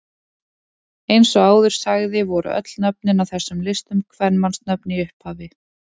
Eins og áður sagði voru öll nöfnin á þessum listum kvenmannsnöfn í upphafi.